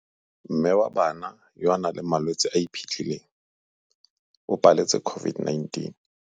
Mme wa bana yo a nang le malwetse a a iphitlhileng o paletse COVID-19.